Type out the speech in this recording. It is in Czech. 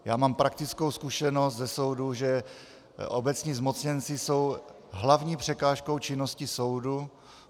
Já mám praktickou zkušenost ze soudů, že obecní zmocněnci jsou hlavní překážkou činnosti soudu.